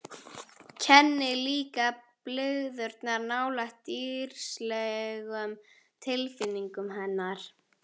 Kenni líka blygðunar nálægt dýrslegum tilfinningum hennar.